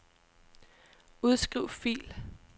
Udskriv fil.